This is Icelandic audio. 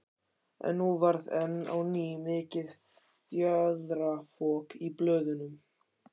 En nú varð enn á ný mikið fjaðrafok í blöðunum.